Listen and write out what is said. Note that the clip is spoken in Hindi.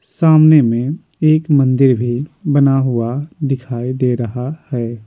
सामने में एक मंदिर भी बना हुआ दिखाई दे रहा है।